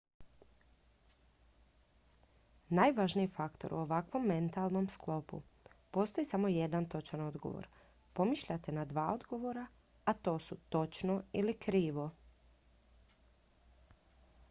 najvažniji faktor u ovakvom metalnom sklopu postoji samo jedan točan odgovor pomišljate na dva odgovora a to su točno ili krivo